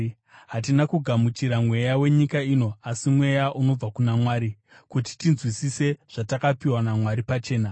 Hatina kugamuchira mweya wenyika ino asi Mweya unobva kuna Mwari; kuti tinzwisise zvatakapiwa naMwari pachena.